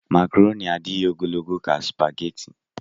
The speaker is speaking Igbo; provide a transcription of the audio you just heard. Makroni adịghị ogologo ka supageti.